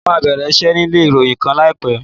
Mo máa bẹ̀rẹ̀ iṣẹ́ nílé ìròyìn kan láìpẹ́.